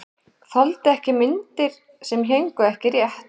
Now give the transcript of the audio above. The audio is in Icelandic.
Þoldi ekki myndir sem héngu ekki rétt.